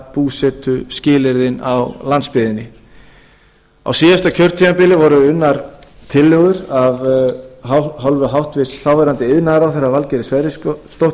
búsetuskilyrðin á landsbyggðinni á síðasta kjörtímabili voru unnar tillögur af hálfu hæstvirtur þáverandi iðnaðarráðherra valgerðar sverrisdóttur